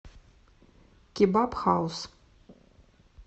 кебаб хаус